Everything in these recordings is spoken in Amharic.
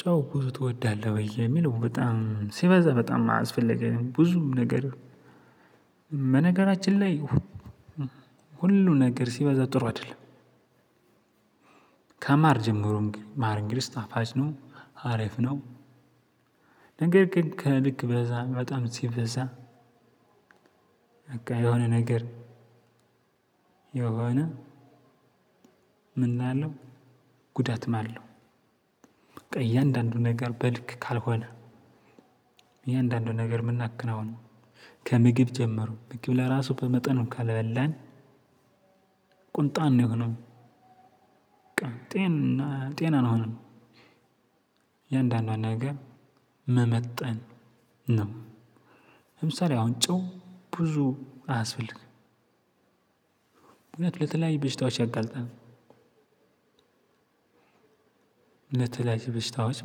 ጨው ብዙ ትወዳለህ ለሚለው በጣም ሲበዛ በጣም አስፈለጊ አይደ ብዙም ነገር በነገራችን ላይ ሁሉ ነገር ሲበዛ ጥሩ አይደለም። ከማር ጀምሮ ማር እንግዲስ ጣፋጭ ነው አሪፍ ነው። ነገር ግን ከልክ በጣም ሲበዛ በቃ የሆነ ነገር የሆነ ምን እላለሁ? ጉዳትም ማለው በቃ እያንዳንዱ ነገር በልክ ካልሆነ። እያንዳንዱ ነገር የምናክነው ከምግብ ጀመሩ ምግብ ለራሱ በመጠኑ ካላበላን። ቁንጣን የሆነው ጤና አንሆንም። እያንዳንዶን ነገር መመጠን ነው። ለምሳሌ አሁን ጨው ብዙ አያስፈልግም። ምክንያቱም ለተለያዩ በሽታዋ ሸያጋልጠናል። ለተለያዩ በሽታዎች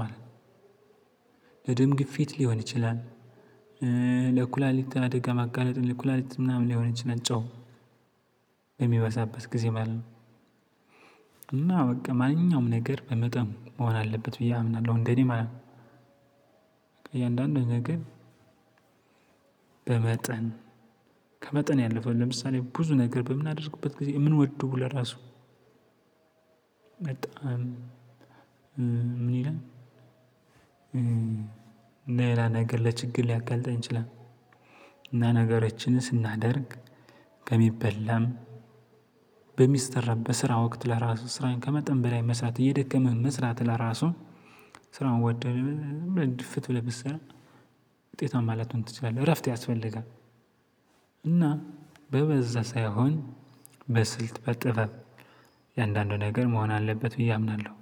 ማለት ነው። ለድምግፊት ሊሆን ይችላል። ለኩላሊታ አደጋ ማጋለጥ ለኩላሊት ምናምን ሊሆን ይችል ጨው የሚበዛበት ጊዜ ማለት ነው። እና በቃ ማንኛውም ነገር በመጠኑ መሆን አለበት ብዬ አምናለሁ እንደኔ ማለት ነው። እያንዳንዱን ነገር በመጠን ከመጠን ያለፈው ለምሳሌ ብዙ ነገር በምናደርግበት ጊዜ የምንወደው ለራሱ በጣም ምን ይላል? ሌላ ነገር ለችግር ሊያጋልጠን ይችላል። እና ነገሮችን ስናደርግ ከሚበላም በሚስራ በስራ ወቅት ለራሱ ስራዬን ከመጠን በላይ መስራት እየደከመህ መስራት ለራሱ ስራውን ወደህ ድፍት ብለህ ብትሰራ ውጤታማ ላትሆን ትችላለህ እረፍት ያስፈልጋል። እና በበዛ ሳይሆን በስልት በጥበብ የአንዳንዱ ነገር መሆን አለበት ብዬ አምናለሁ።